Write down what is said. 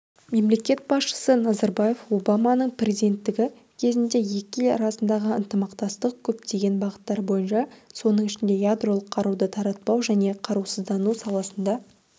мемлекет басшысы назарбаев обаманың президенттігі кезінде екі ел арасындағы ынтымақтастық көптеген бағыттар бойынша соның ішінде ядролық қаруды таратпау және қарусыздану саласында